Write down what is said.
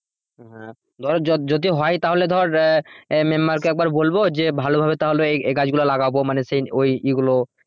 হ্যাঁ ধর যদি হয় তাহলে ধর আহ আহ member কে একবার বলবো যে ভালোভাবে তাহলে এই গাছগুলা লাগাবো মানে সেই ওই এগুলো